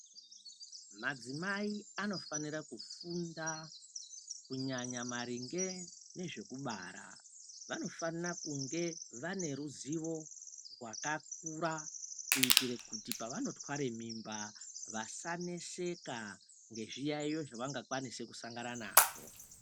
Madzimai anofanira kufunda kunyahya maringe nezvekubara vanofana kunge vane ruzivo rwakakura kuitira kuti pavanotwara mimba Vasaneseka nezviyaiyo zvavanofana sangana nazvo.